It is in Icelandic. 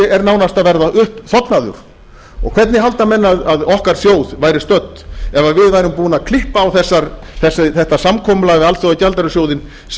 er nánast að verða uppþornaður hvernig halda menn að okkar þjóð væri stödd ef við værum búnir að klippa á þetta samkomulag við alþjóðagjaldeyrissjóðinn